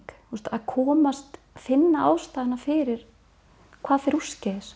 að komast finna ástæðuna fyrir hvað fer úrskeiðis